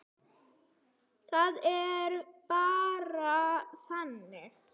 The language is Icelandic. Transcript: Það er bara þannig.